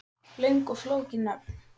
Löng og flókin nöfn